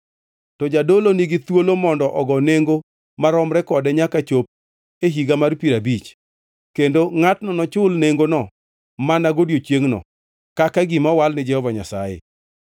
to jadolo nigi thuolo mondo ogo nengo maromre kode nyaka chop e Higa mar Piero Abich, kendo ngʼatno nochul nengono mana godiechiengno, kaka gima owal ni Jehova Nyasaye.